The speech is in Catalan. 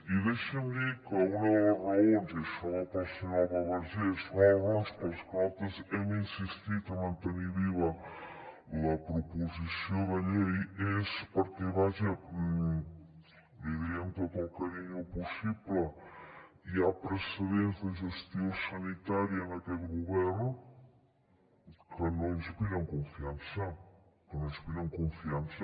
i deixi’m dir que una de les raons i això va per a la senyora alba vergés per les que nosaltres hem insistit a mantenir viva la proposició de llei és perquè vaja l’hi diré amb tot el carinyo possible hi ha precedents de gestió sanitària en aquest govern que no inspiren confiança que no inspiren confiança